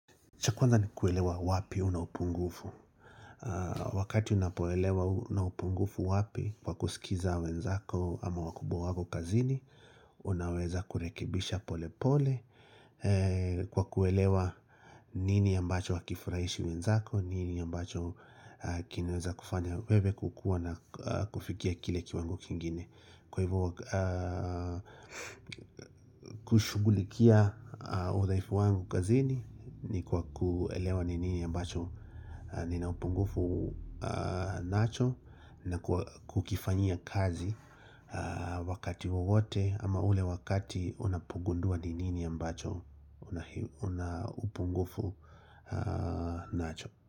Cha kwanza ni kuelewa wapi una upungufu Wakati unapoelewa una upungufu wapi Kwa kusikiza wenzako ama wakubwa wako kazini Unaweza kurekibisha pole pole Kwa kuelewa nini ambacho akifurahishi wenzako nini ambacho kinaweza kufanya wewe kukua na kufikia kile kiwango kingine Kwa hivyo kushugulikia udhaifu wangu kazini ni kwa kuelewa nini ambacho nina upungufu nacho na kukifanyia kazi wakati wowote ama ule wakati unapugundua nini ambacho una upungufu nacho.